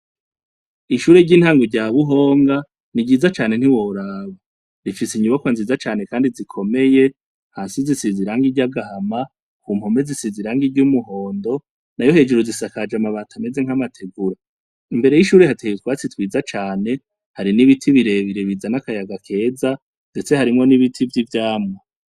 Ishure ry'intango rya Buhonga ni ryiza cane ntiworaba. Rifise inyubakwa nziza cane kandi zikomeye. Hasi zisize irangi ry'agahama, ku mpome zisize irangi ry'umuhondo nayo hejuru zisakaje amabati ameze nk'amategura. Imbere y'ishure hateye utwasi twiza cane. Hari n'ibiti birebire bizana akayaga keza, ndetse harimwo n'ibiti vy'ivyamwa.